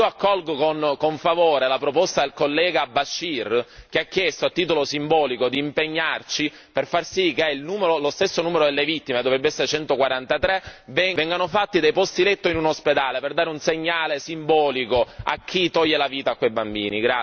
Io accolgo con favore la proposta del collega Bashir che ha chiesto titolo simbolico di impegnarci per far sì che lo stesso numero delle vittime dovrebbe essere 143 vengano fatti dei posti letto in un ospedale per dare un segnale simbolico a chi toglie la vita a quei bambini.